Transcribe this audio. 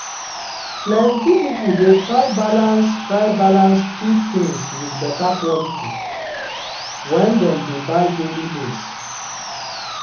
plenty people dey try balance try balance cheap things with better quality when dem dey buy daily needs.